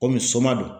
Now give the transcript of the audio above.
Kɔmi soma don